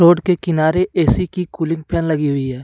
Road के किनारे AC की कूलिंग फैन लगी हुई हैं।